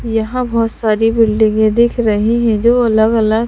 यहाँं बहुत सारी बिल्डिंगे दिख रही हैं जो अलग-अलग--